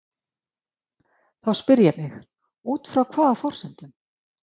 Þá spyr ég mig: Út frá hvaða forsendum?